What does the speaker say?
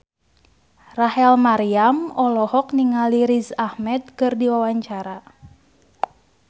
Rachel Maryam olohok ningali Riz Ahmed keur diwawancara